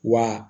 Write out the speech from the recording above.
Wa